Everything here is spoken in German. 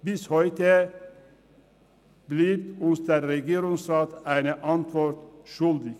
– Bis heute bleibt uns der Regierungsrat eine Antwort schuldig.